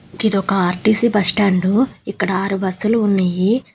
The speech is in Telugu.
గిది ఒక ఆర్_టీ_సీ బస్టాండు . ఇక్కడ ఆరు బస్సులు ఉన్నయి.